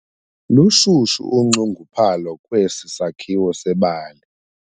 Lushushu unxunguphalo kwesi sakhiwo sebali.